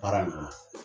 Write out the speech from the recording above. Baara nin kɔnɔ